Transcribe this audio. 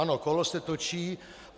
Ano, kolo se točí.